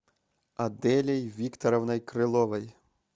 аделей викторовной крыловой